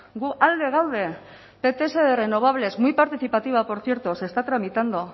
gu alde gaude pts de renovables muy participativa por cierto se está tramitando